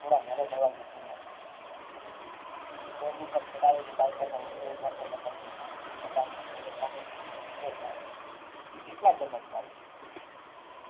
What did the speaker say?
થોડાક નરમ અવાજે તેમણે પૂછ્યું stand ઉપર ચઢાવેલી સાયકલને પોટલી જોઈને દોલતરામે કહ્યું છે સાહેબ તો કેટલા જમણ ચાલશે